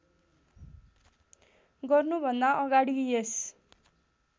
गर्नुभन्दा अगाडि यस